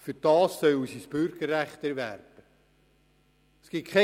Dafür sollen sie jedoch das Bürgerrecht erwerben.